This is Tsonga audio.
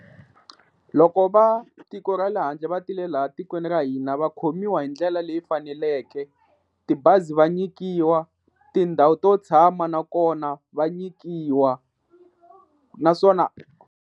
Loko va tiko ra le handle va tile laha tikweni ra hina va khomiwa hi ndlela leyi faneleke, tibazi va nyikiwa, tindhawu to tshama nakona va nyikiwa naswona.